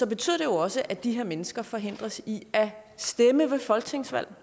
betyder det også at de her mennesker forhindres i at stemme ved folketingsvalg